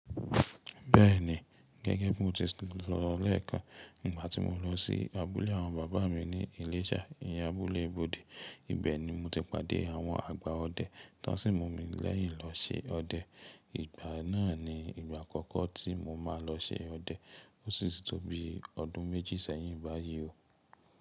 Bẹ́ẹ̀ni, gẹ́gẹ́ bí mo ti sọ lẹ́ẹ̀kan, ìgbà tí mo lọ sí abúlé àwọn bàbá mi ní Ìléṣà, ìyẹn abúlé ibode, ibẹ̀ ni mo ti pàdé àwọn àgbà ọdẹ tón sì mú mi lẹ́yìn lọ ṣi ọdẹ. Ìgbà náà ni ìgbà àkọ́kọ́ tí mo máa lọ ṣe ọdẹ ó sì ti tó bí ọdún méjì sẹ́yìn báyìí o.